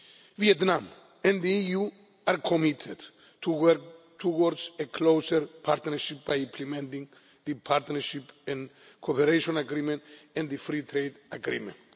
Vietnam and the EU are committed to work towards a closer partnership by implementing the Partnership and Cooperation Agreement and the Free Trade Agreement.